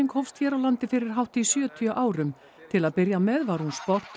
hófst hér á landi fyrir hátt í sjötíu árum til að byrja með var hún sport